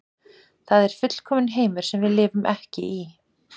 Það er fullkominn heimur sem við lifum ekki í.